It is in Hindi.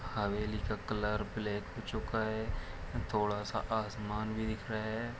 हवेली का कलर ब्लेक हो चूका है थोड़ा सा आसमान भी दिख रहा है।